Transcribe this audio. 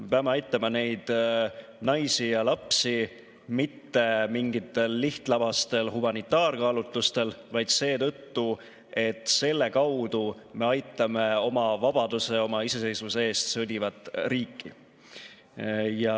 Me peame aitama neid naisi ja lapsi mitte mingitel lihtlabastel humanitaarkaalutlustel, vaid seetõttu, et selle kaudu me aitame oma vabaduse ja oma iseseisvuse eest sõdivat riiki.